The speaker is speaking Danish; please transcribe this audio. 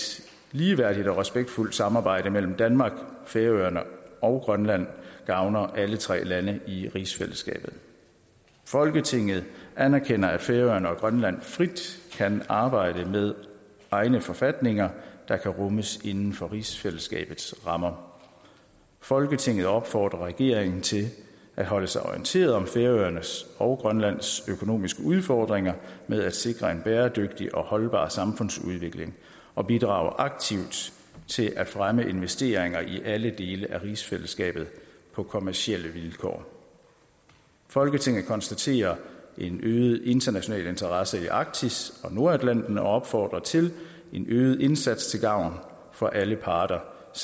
ligeværdigt og respektfuldt samarbejde mellem danmark færøerne og grønland gavner alle tre lande i rigsfællesskabet folketinget anerkender at færøerne og grønland frit kan arbejde med egne forfatninger der kan rummes inden for rigsfællesskabets rammer folketinget opfordrer regeringen til at holde sig orienteret om færøernes og grønlands økonomiske udfordringer med at sikre en bæredygtig og holdbar samfundsudvikling og bidrage aktivt til at fremme investeringer i alle dele af rigsfællesskabet på kommercielle vilkår folketinget konstaterer en øget international interesse i arktis og nordatlanten og opfordrer til en øget indsats til gavn for alle parter og